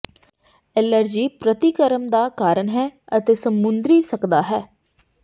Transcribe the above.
allergy ਪ੍ਰਤੀਕਰਮ ਦਾ ਕਾਰਨ ਹੈ ਅਤੇ ਸਮੁੰਦਰੀ ਸਕਦਾ ਹੈ